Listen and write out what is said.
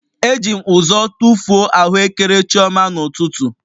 Eji m ụzọ tụfuo ahụekere chioma n'ụtụtụ